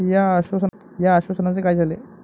या आश्वासनांचे काय झाले?